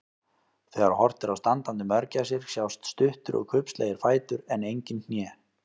Þegar horft er á standandi mörgæsir sjást stuttir og kubbslegir fætur en engin hné.